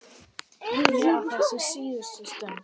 Ég á þessa síðustu stund.